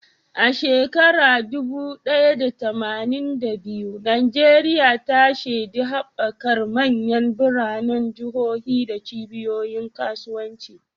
A shekarar dubu ɗaya da tamanin da biyu, Najeriya ta shaidi haɓakar manyan biranen jihohi da cibiyoyin kasuwanci.